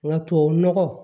Nka tubabu nɔgɔ